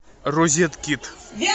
розеткит